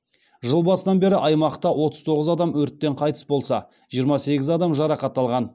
жыл басынан бері аймақта отыз тоғыз адам өрттен қайтыс болса жиырма сегіз адам жарақат алған